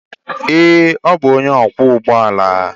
Ee, ọ bụ onye ọkwọ ụgbọ ala.